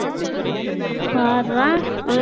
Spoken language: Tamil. பார்ரா அ